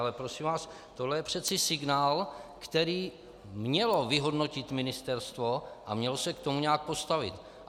Ale prosím vás, tohle je přece signál, který mělo vyhodnotit ministerstvo a mělo se k tomu nějak postavit.